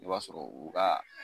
I b'a sɔrɔ u ka